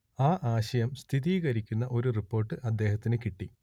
ആ സംശയം സ്ഥിരീകരിക്കുന്ന ഒരു റിപ്പോർട്ട് അദ്ദേഹത്തിന് കിട്ടി